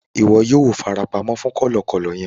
Ìwo yio fara pamó fún kòlòkòlò yen